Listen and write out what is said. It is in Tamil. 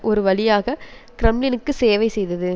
ஒரு வழியாக கிரெம்ளினுக்கு சேவை செய்தது